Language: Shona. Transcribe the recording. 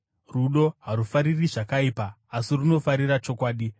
Rudo harufariri zvakaipa, asi runofarira chokwadi.